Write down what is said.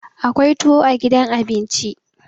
akwai tuwo a gidan abinci